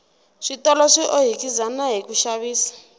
switolo swi ohikizana hiku xavisa